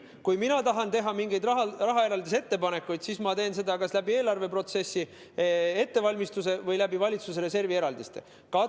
Kui mina tahan teha mingeid raha eraldamise ettepanekuid, siis ma teen seda kas eelarveprotsessi ettevalmistamise või valitsuse reservist tehtavate eraldiste kaudu.